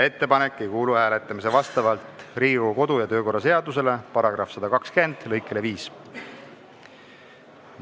Ettepanek ei kuulu vastavalt Riigikogu kodu- ja töökorra seaduse § 120 lõikele 5 hääletamisele.